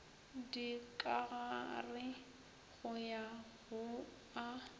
dikagare go ya go a